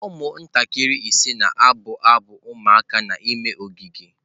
Ụmụntakịrị ise na-abụ abụ ụmụaka n'ime ogige.